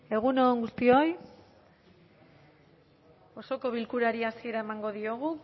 egun on guztioi osoko bilkurari hasiera emango diogu